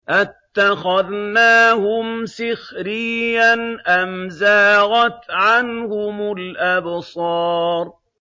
أَتَّخَذْنَاهُمْ سِخْرِيًّا أَمْ زَاغَتْ عَنْهُمُ الْأَبْصَارُ